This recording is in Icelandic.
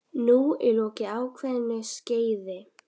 Nú er lokið ákveðnu skeiði.